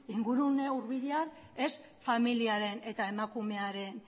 ingurune hurbilean ez familiaren eta emakumearen